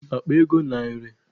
Eji m akpa ego narị.